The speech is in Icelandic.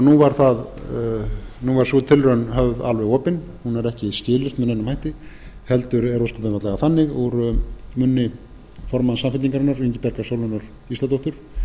nú var sú tilraun höfð alveg opin hún er ekki skilyrt með neinum hætti heldur er ósköp einfaldlega þannig úr munni formanns samfylkingarinnar ingibjargar sólrúnar gísladóttur